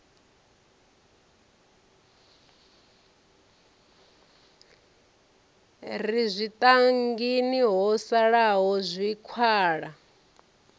re zwitangini ho salaho zwikhala